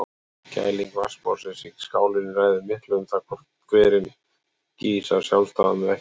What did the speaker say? Kæling vatnsborðsins í skálinni ræður miklu um það hvort hverinn gýs af sjálfsdáðum eða ekki.